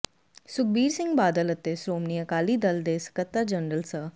ਸੁਖਬੀਰ ਸਿੰਘ ਬਾਦਲ ਅਤੇ ਸ੍ਰੋਮਣੀ ਅਕਾਲੀ ਦਲ ਦੇ ਸਕੱਤਰ ਜਰਨਲ ਸ